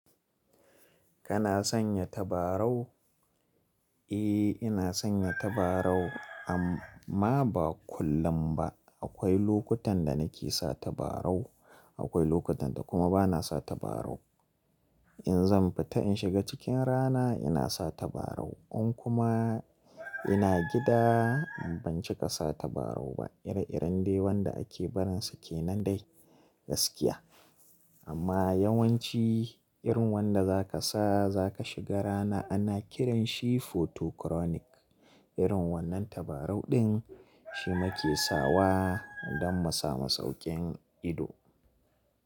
Kana sanya tabarau? Eh ina sanya tabarau amma ba kullum ba. Akwai lokutan da nake sa tabarau, akwai lokutan da kuma bana sa tabarau. In zan fita in shiga cikin rana ina sa tabarau in kuma ina gida ban cika sa tabarau ba. Ire-iren dai wanda ake barin su kenan dai gaskiya. Amma yawanci irin wanda zaka sa zaka shiga rana ana kiran shi photochronic. Irin wannan tabarau ɗin shi muke sawa don mu samu saukin ido.